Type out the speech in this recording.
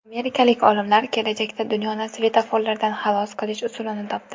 Amerikalik olimlar kelajakda dunyoni svetoforlardan xalos qilish usulini topdi.